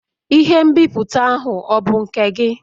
Ihe nbipute ahụ ọ bụ nke gị?